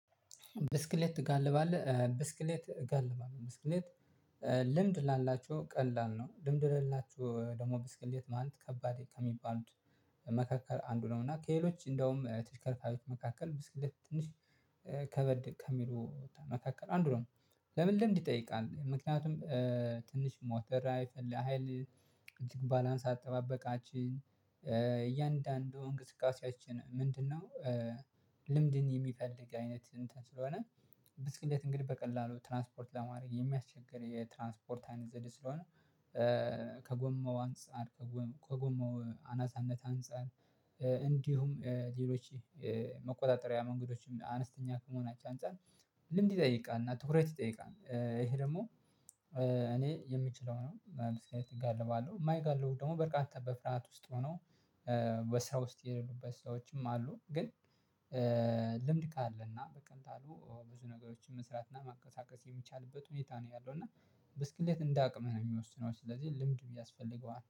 ብስክሌት ትጋልባለህ ብስክሌት እጋልባለሁ ብስክሌት ልምድ ላላችሁ ቀላል ነው። ልምድ ለሌላችሁ ደግሞ ብስክሌት ማን ከባድ ከሚባሉት መካከል አንዱ ነው። እና ከኤሎች እንደውም ተሽከርካሪዎች መካከል ብስክሌት ትንሽ ከበድ ከሚሉ መካከል አንድ ነው። ለምን? ልምድ ይጠይቃል ምክንያቱም ትንሽ ሞተራ ሀይል። እጅግ ባላንስ አጠባበቃችን እያንዳንዱ እንቅስቃሴያችን ምንድነው? ልምድን የሚፈልግ አይነት እንትን ስለሆነ። ብስክልት እንግዲህ በቀላሉ ትራንስፖርት ለማድረግ የሚያስቸግር የትራንስፖርታዊ ዘዴ ስለሆነ። ከጎመው አንፃር ከጎማው አናሳነት አንፃር። እንዲሁም ሌሎች መቆጣጠሪያ መንገዶችም አነስተኛ ከመሆናቸው አንፃር ልምድ ይጠይቃል። እና ትኩረት ይጠይቃል። ይሄ ደግሞ እኔ የምችለው ነው። ብስክሌት እጋልባለሁ። የማይጋልቡ ደግሞ በርካታ በፍርሃት ውስጥ ሆነው በስራ ውስጥ የሌሉበት ሰዎችም አሉ። ግን ልምድ ካለና በቀላሉ ብዙ ነገሮችን መስራትና ማቀሳቀስ የሚቻልበት ሁኔታ ነው ያለው። እና ብስክሌት እንደ አቅምህ ነው የሚወስነው። ስለዚህ ልምድ ያስፈልገዋን